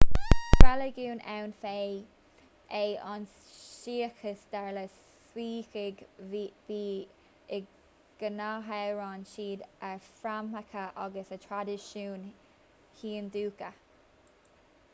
is reiligiún ann féin é an suíceachas dar le suícigh bíodh is go n-admhaíonn siad a fhréamhacha agus a thraidisiúin hiondúcha